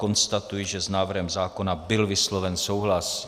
Konstatuji, že s návrhem zákona byl vysloven souhlas.